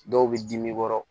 Dɔw bɛ dimi kɔrɔ